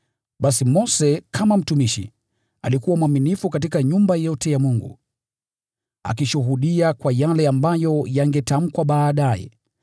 Basi Mose kama mtumishi alikuwa mwaminifu katika nyumba yote ya Mungu, akishuhudia kwa yale ambayo yangetamkwa baadaye.